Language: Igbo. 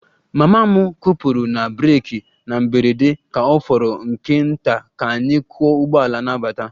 Mama m kwụpụrụ na breeki na mberede ka ọ fọrọ nke nta ka anyị kụọ ụgbọala na-abata